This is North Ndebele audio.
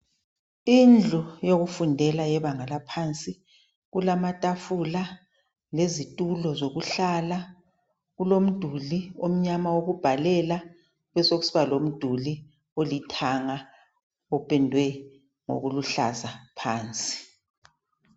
Indlu yokufundela yebanga laphansi. Kulamatafula lezitulo zokuhlala. Kulomduli omnyama wokubhalela kubesokusiba lomduli olithanga opendwe ngokuluhlaza phansi.